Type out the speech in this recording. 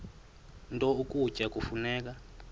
nto ukutya kufuneka